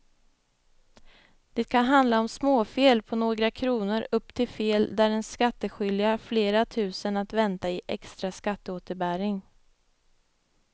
Det kan handla om småfel på några kronor upp till fel där den skattskyldige har flera tusen att vänta i extra skatteåterbäring.